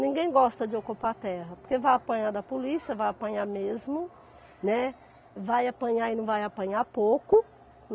Ninguém gosta de ocupar terra, porque vai apanhar da polícia, vai apanhar mesmo, né, vai apanhar e não vai apanhar pouco.